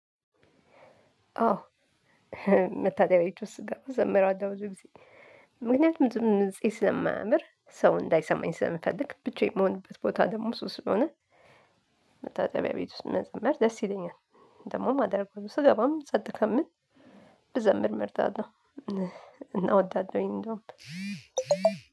አዎ መታጠቢያ ቤት ውስጥ ስገባ እዘምራለሁ ብዙ ጊዜ ምክንያቱም ድምፄ ስለማያምር ሰው እንዳይሰማኝ ስለምፈልግ ብቻዬን የምሆንበት ቦታ ደግሞ እሱ ስለሆነ። መታጠቢያ ቤት ውስጥ መዘመር ደስ ይለኛል። ደግሞ የማደርገው ስገባም ጸጥ ከምል ብዘምር መርጣለሁ። እና እወዳለሁኝ እንደውም